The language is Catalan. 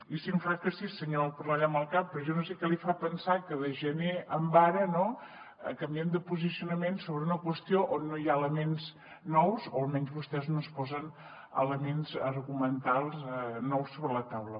i sí em fa que sí senyor cornellà amb el cap però jo no sé què li fa pensar que de gener a ara canviem de posicionament sobre una qüestió on no hi ha elements nous o almenys vostès no posen elements argumentals nous sobre la taula